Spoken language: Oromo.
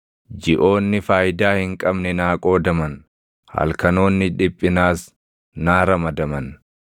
jiʼoonni faayidaa hin qabne naa qoodaman; halkanoonni dhiphinaas naa ramadaman.